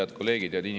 Head kolleegid!